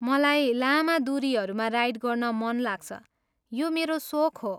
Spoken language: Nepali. मलाई लामा दुरीहरूमा राइड गर्न मन लाग्छ, यो मेरो सोख हो।